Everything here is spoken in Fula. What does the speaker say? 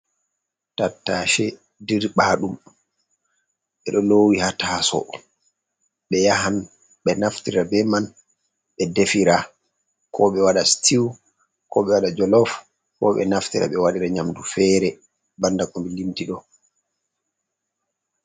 Tattaace dirɓaaɗum, ɓe do loowi ha taaso ɓe yahan ɓe naftira bee man ɓe defira, koo ɓe waɗa "sitiw", koo ɓe waɗa "jolof", Koo ɓe naftira ɓe waɗira nyamdu feere bannda ko mi limti ɗo.